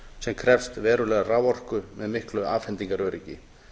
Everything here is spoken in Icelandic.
sem krefst verulegrar raforku með miklu afhendingaröryggi